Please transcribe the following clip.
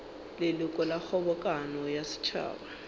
leloko la kgobokano ya setšhaba